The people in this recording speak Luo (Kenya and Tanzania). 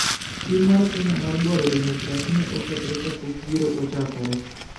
Tim mar Kenya mar dwaro demokrasi ne okethore kapok yiero ochakore.